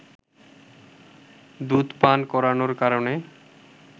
দুধ পান করানোর কারণে